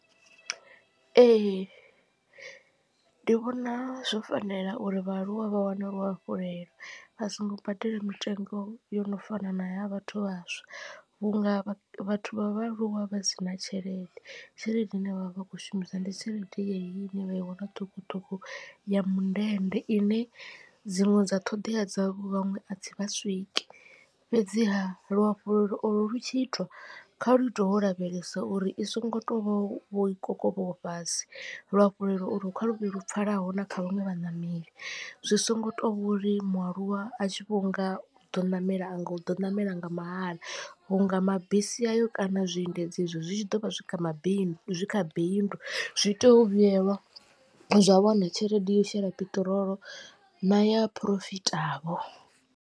Ee ndi vhona zwo fanela uri vhaaluwa vha wane luhafhulelo vha songo badela mitengo yo no fana naya vhathu vhaswa vhunga vhathu vha vhaaluwa vha sina tshelede tshelede ine vhavha vha khou shumisa ndi tshelede yeneyi ine vha i wana ṱhukhuṱhukhu ya mundende ine dziṅwe dza ṱhoḓea dza vhaṅwe a dzi vha swiki. Fhedziha luhafhulelo olo lu tshiitwa kha lu itwe wo lavhelesa uri i songo to vha vho i kokovhaho fhasi. Luhafhulelo ulu kha luvhe lu pfhalaho na kha vhaṅwe vhaṋameli zwi songo to vhori mualuwa a tshi vhonga uḓo ṋamela a nga u ḓo ṋamela nga mahala vhunga mabisi ayo kana zwiendedzi izwo zwi tshi ḓo vha zwi kha mabindu zwi kha bindu zwi tea u vhuyelwa zwa wana tshelede yo shela peṱirolo na ya phurofita vho.